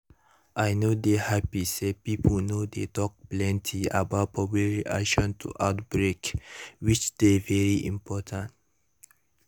i no dey happy say pipo no dey talk plenty about public reaction to outbreak which dey very important